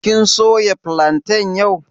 Kin soya filantan yau?